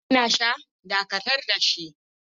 Har yanzu kuna sha, Dakatar da shi!